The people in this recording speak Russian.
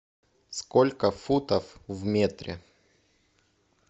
сколько футов в метре